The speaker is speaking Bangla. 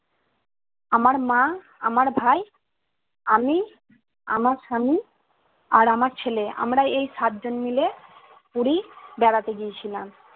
আমার মা আমার ভাই আমি আমার স্বামী আর আমার ছেলে। আমরা এই সাত জন মিলে পুরি বেড়াতে গিয়েছিলাম